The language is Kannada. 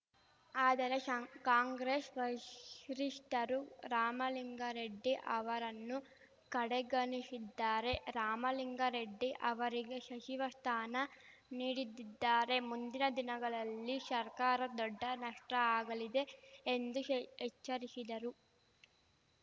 ಆದರೆ ಷ ಕಾಂಗ್ರೆಶ್ ವರಿಷ್ಠರು ರಾಮಲಿಂಗಾರೆಡ್ಡಿ ಅವರನ್ನು ಕಡೆಗಣಿಶಿದ್ದಾರೆ ರಾಮಲಿಂಗಾರೆಡ್ಡಿ ಅವರಿಗೆ ಶಚಿವ ಶ್ಥಾನ ನೀಡಿದಿದ್ದಾರೆ ಮುಂದಿನ ದಿನಗಳಲ್ಲಿ ಸರ್ಕಾರ ದೊಡ್ಡ ನಷ್ಟಆಗಲಿದೆ ಎಂದು ಎಚ್ಚರಿಶಿದರು